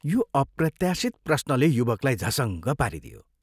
" यो अप्रत्याशित प्रश्नले युवकलाई झसङ्ग पारिदियो।